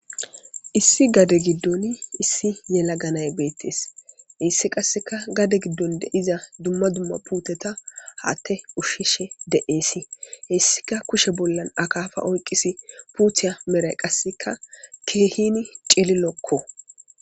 Issi gade gidon issi yelaga nay betes hes qaseka gade gidon deiza dumma dumma puteta hate ushishe de'es hesika kushe bollan akafa oyqis puta medhoy qase kehi cililoko